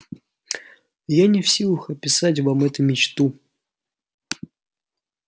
я не в силах описать вам эту мечту